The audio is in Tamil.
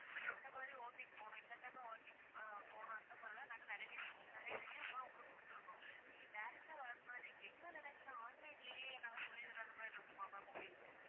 இந்த மாதிரி walking போணும் இந்த time ல walking போணும் அந்த மாதிரில்லாம் நாங்க நிறைய reviews லாம் நாங்க கொடுத்து இருக்கோம் நீங்க direct டா வர மாதிரி இருக்கீங்களா இல்ல online லயே நாங்க சொல்லி தர்றது மாதிரி இருக்குமா ma'am உங்களுக்கு